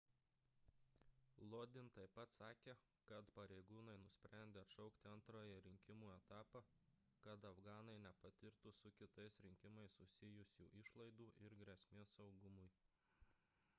lodin taip pat sakė kad pareigūnai nusprendė atšaukti antrąjį rinkimų etapą kad afganai nepatirtų su kitais rinkimais susijusių išlaidų ir grėsmės saugumui